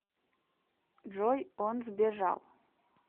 джой он сбежал